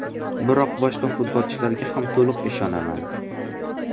Biroq boshqa futbolchilarga ham to‘liq ishonaman.